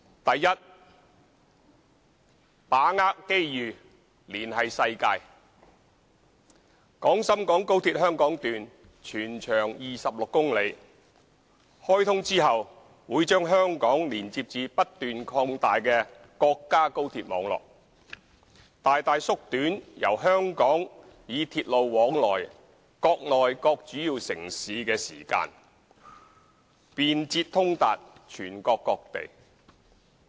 a 把握機遇連繫世界廣深港高鐵香港段全長26公里，開通後會將香港連接至不斷擴大的國家高鐵網絡，大大縮短由香港以鐵路往來內地各主要城市的時間，便捷通達全國各地。